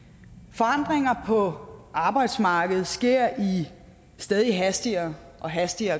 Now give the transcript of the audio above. forandringer på arbejdsmarkedet sker i et stadig hastigere og hastigere